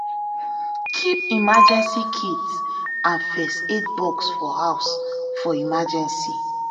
keep emergency kits and first aid box for house for emergency